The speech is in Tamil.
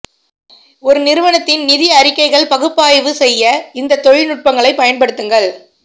ஒரு நிறுவனத்தின் நிதி அறிக்கைகள் பகுப்பாய்வு செய்ய இந்த தொழில்நுட்பங்களைப் பயன்படுத்துங்கள்